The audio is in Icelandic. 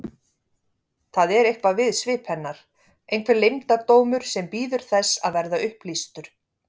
Það er eitthvað við svip hennar, einhver leyndardómur sem bíður þess að verða upplýstur.